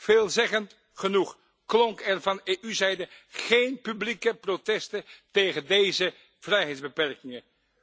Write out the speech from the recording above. Veelzeggend genoeg klonken er van EU zijde geen publieke protesten tegen deze vrijheidsbeperkingen.